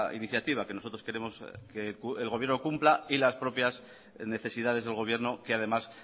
iniciativa que nosotros queremos que el gobierno cumpla y las propias necesidades del gobierno que además